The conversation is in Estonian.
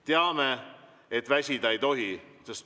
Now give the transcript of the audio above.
Teame, et väsida ei tohi.